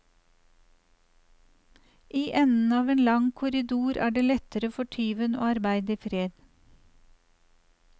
I enden av en lang korridor er det lettere for tyven å arbeide i fred.